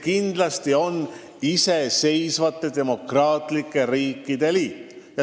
Kindlasti peetakse silmas iseseisvate demokraatlike riikide liitu.